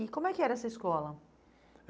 E como é que era essa escola?